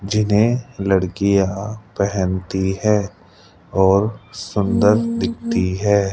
जिन्हें लड़कियां पहनती हैं और सुंदर दिखती है।